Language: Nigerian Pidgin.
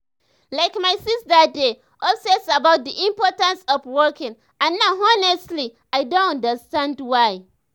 like my sister dey obsess about the importance of walking and now honestly i don understand why.